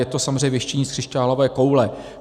Je to samozřejmě věštění z křišťálové koule.